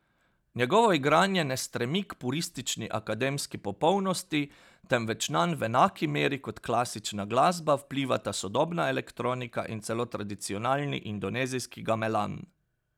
Njegovo igranje ne stremi k puristični akademski popolnosti, temveč nanj v enaki meri kot klasična glasba vplivata sodobna elektronika in celo tradicionalni indonezijski gamelan.